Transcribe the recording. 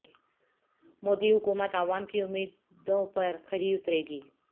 مودی حکومت عوام کی امیدوں پر کھری اترے گی